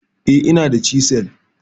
eh, inada chisel